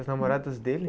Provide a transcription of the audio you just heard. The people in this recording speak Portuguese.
As namoradas dele?